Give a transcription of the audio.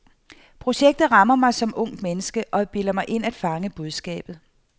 Projektet rammer mig som ungt menneske, og jeg bilder mig ind at fange budskabet.